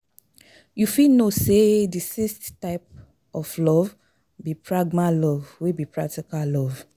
You fit know say di sixth type of love be pragma love wey be practical love.